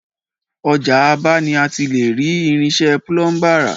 Ọjà Aba ni a ti le rí Irinṣẹ́ Púlúmbà ra